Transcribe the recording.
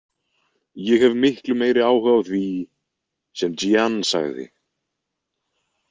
Ég hef miklu meiri áhuga á því sem Jeanne sagði.